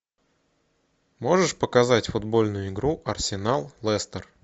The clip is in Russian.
можешь показать футбольную игру арсенал лестер